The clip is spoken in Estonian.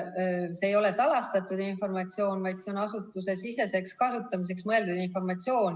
Teiseks, see ei ole salastatud informatsioon, vaid see on asutusesiseseks kasutamiseks mõeldud informatsioon.